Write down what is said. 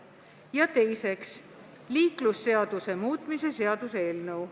Ja teiseks, liiklusseaduse muutmise seaduse eelnõu.